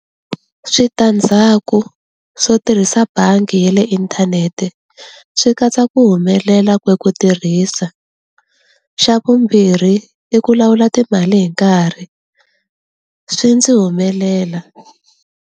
Switandzhaku swo tirhisa bangi ya le inthanete swi katsa ku humelela ka ku tirhisa, xa vumbirhi i ku lawula timali hi nkarhi swi ndzi humelela.